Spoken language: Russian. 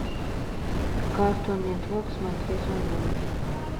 картун нетворк смотреть онлайн